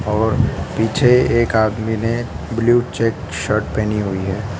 और पीछे एक आदमी ने ब्लू चेक शर्ट पहनी हुई है।